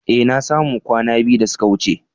Eh, na samu kwana biyu da suka wuce.